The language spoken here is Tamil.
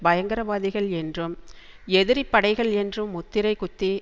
பயங்கரவாதிகள் என்றும் எதிரிப்படைகள் என்றும் முத்திரை குத்தி